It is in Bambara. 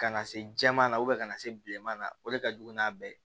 Kana se jɛman na ka na se bilenma o de ka jugu n'a bɛɛ ye